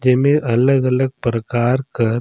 जेमे अलग-अलग परकार कर--